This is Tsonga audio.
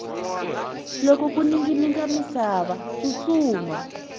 loko ku ninginika misava tsutsuma